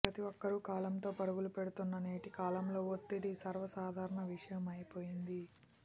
ప్రతీ ఒక్కరూ కాలంతో పరుగులు పెడుతున్న నేటికాలంలో ఒత్తిడి సర్వసాధారణ విషయమైపోయింది